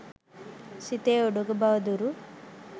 සිතේ උඩඟු බව දුරු